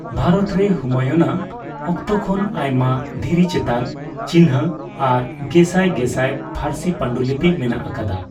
ᱵᱷᱟᱨᱚᱛ ᱨᱮ ᱦᱩᱢᱟᱭᱩᱱ ᱟᱜ ᱚᱠᱛᱚ ᱠᱷᱚᱱ ᱟᱭᱢᱟ ᱫᱷᱤᱨᱤ ᱪᱮᱛᱟᱱ ᱪᱤᱱᱦᱟᱹ ᱟᱨ ᱜᱮᱥᱟᱭ ᱜᱮᱥᱟᱭ ᱯᱷᱟᱨᱥᱤ ᱯᱟᱱᱰᱩᱞᱤᱯᱤ ᱢᱮᱱᱟᱜ ᱟᱠᱟᱫᱟ ᱾